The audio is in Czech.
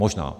Možná.